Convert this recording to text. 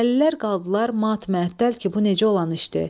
Dəlilər qaldılar mat məəttəl ki, bu necə olan işdi?